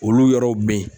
Olu yɔrɔw bɛ yen